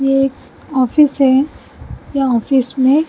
ये एक ऑफिस है या ऑफिस में--